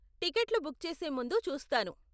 టికెట్లు బుక్ చేసే ముందు చూస్తాను.